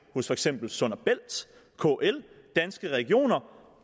hos for eksempel sund bælt kl danske regioner